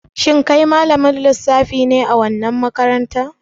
Shin kai malamin lissafi ne a wannan makarantar?